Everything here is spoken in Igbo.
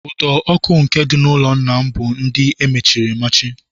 Ụdọ ọkụ nke dị n'ụlọ nna m bụ ndị amachiri amachi